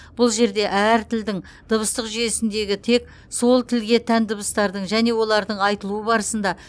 бұл жерде әр тілдің дыбыстық жүйесіндегі тек сол тілге тән дыбыстардың және олардың айтылуы барысында